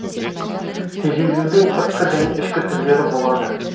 тежелудің сыртқы және ішкі түрлері болады